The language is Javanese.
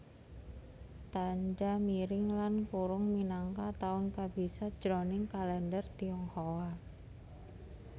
Tandha miring lan kurung minangka taun kabisat jroning kalèndher Tionghoa